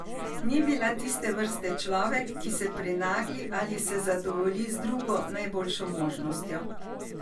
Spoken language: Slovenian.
Ni bila tiste vrste človek, ki se prenagli ali se zadovolji z drugo najboljšo možnostjo.